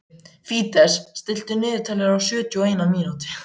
Fídes, stilltu niðurteljara á sjötíu og eina mínútur.